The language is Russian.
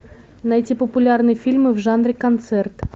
найти популярные фильмы в жанре концерт